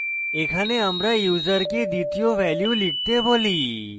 এখানে আমরা ইউসারকে দ্বিতীয় ভ্যালু লিখতে বলি